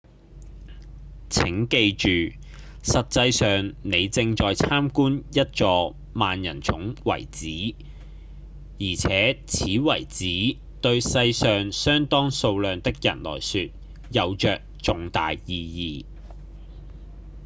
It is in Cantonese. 請記住實際上你正在參觀一座萬人塚遺址而且此遺址對世上相當數量的人來說有著重大意義